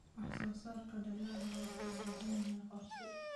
Wax-soo-saarka dalagga wuxuu u baahan yahay qorshe.